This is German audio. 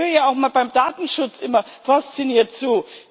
Ich höre ja auch beim Datenschutz immer fasziniert zu.